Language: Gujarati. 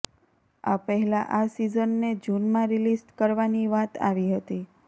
આ પહેલાં આ સીઝનને જૂનમાં રિલીઝ કરવાની વાત આવી હતી